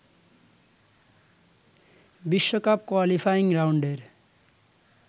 বিশ্বকাপ কোয়ালিফাইং রাউন্ডের